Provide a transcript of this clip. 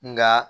Nka